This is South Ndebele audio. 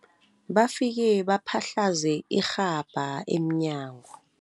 Bafike baphahlaze irhabha emnyango.